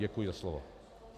Děkuji za slovo.